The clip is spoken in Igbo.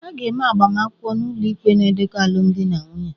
A na-eme agbamakwụkwọ n'ụlọikpe na ndekọ alụmdi na nwunye